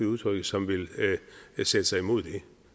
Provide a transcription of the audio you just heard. udtrykket som vil sætte sig imod det